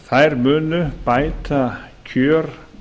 þær munu bæta kjör